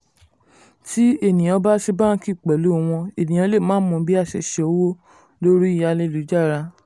Tí ènìyàñ bá ṣe báńkì pẹ̀lú wọñ ènìyàn lè má mọ bá ṣe ṣowó lórí ẹ̀rọ ayélujára